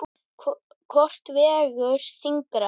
Hvort vegur þyngra?